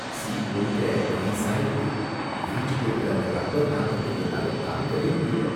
Seat முழுக்க கிரீஸா இருக்கு, எரிஞ்சுட்டு இருக்கற அந்த ரப்பர் நாத்தத்தை என்னால தாங்கவே முடியல.